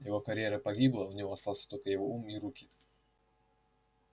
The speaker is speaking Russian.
его карьера погибла у него остался только его ум и руки